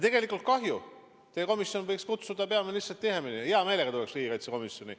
Tegelikult kahju: teie komisjon võiks peaministrit tihemini kohale kutsuda, ma hea meelega tuleksin riigikaitsekomisjoni.